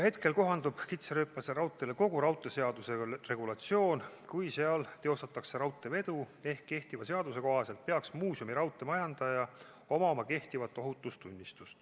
Hetkel kohandub kitsarööpmelisele raudteele kogu raudteeseaduse regulatsioon, kui seal teostatakse raudteevedu, ehk kehtiva seaduse kohaselt peaks muuseumiraudtee majandajal olema kehtiv ohutustunnistus.